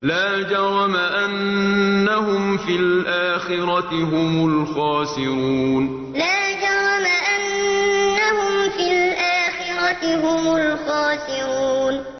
لَا جَرَمَ أَنَّهُمْ فِي الْآخِرَةِ هُمُ الْخَاسِرُونَ لَا جَرَمَ أَنَّهُمْ فِي الْآخِرَةِ هُمُ الْخَاسِرُونَ